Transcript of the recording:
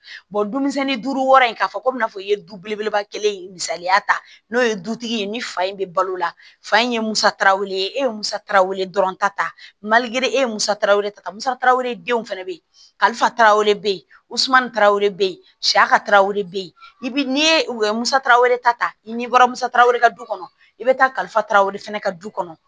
dumisɛnni duuru wɔɔrɔ in k'a fɔ komi i n'a fɔ i ye du belebeleba kelen ye misaliya ta n'o ye dutigi ye ni fa in bɛ balo la fa in ye musakaw ye e ye musaka wele dɔrɔn ta ta e ye musaka wɛrɛ ta musaka wɛrɛ denw fana bɛ ye kalifa tarawele wusulan taw bɛ yen sa ka taawere bɛ yen n'i ye u ye musaka wɛrɛ ta i ni bɔra musakaw de ka du kɔnɔ i bɛ taa kalifaraw fana ka du kɔnɔ